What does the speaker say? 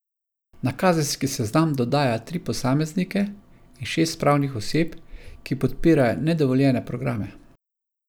Na kazenski seznam dodaja tri posameznike in šest pravnih oseb, ki podpirajo nedovoljene programe.